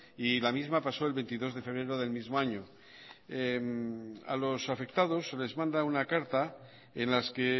y la misma pasó el veintidós de febrero del mismo año a los afectados se les manda una carta en las que